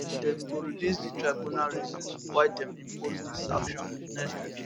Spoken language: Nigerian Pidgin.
dem go release di tribunal reasons why dem impose di sanction next week